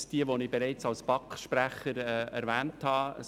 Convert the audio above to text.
Erstens ist es das, was ich als BaK-Sprecher bereits erwähnt habe.